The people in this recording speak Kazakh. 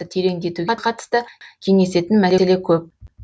тереңдетуге қатысты кеңесетін мәселе көп